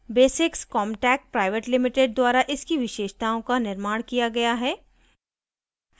* basics comtech pvt ltd द्वारा इसकी विशेषताओं का निर्माण किया गया है